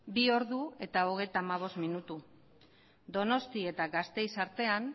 bi h hogeita hamabost minutu donostia eta gasteizen artean